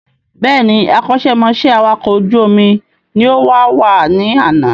Bẹ́ẹ̀ni, akọ́ṣẹ́ mọṣẹ́ awàkọ̀ ojú omi ni ó wàwá ní àná